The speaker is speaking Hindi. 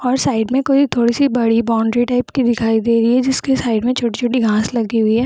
और साइड में थोड़ी-सी बड़ी बाउंड्री टाइप की दिखाई दे रही है जिसके साइड में छोटी-छोटी घांस लगी हुई है।